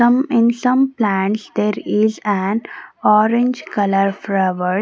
some in some plants there is an orange colour flower.